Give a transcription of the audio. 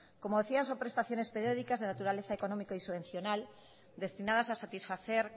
como decía son prestaciones periódicas de naturaleza económica y subvencional destinadas a satisfacer